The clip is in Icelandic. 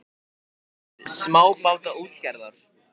Framtíð smábátaútgerðar?